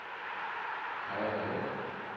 Kaja Munk